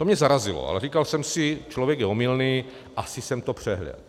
To mě zarazilo, ale říkal jsem si, člověk je omylný, asi jsem to přehlédl.